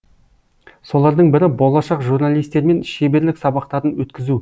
солардың бірі болашақ журналистермен шеберлік сабақтарын өткізу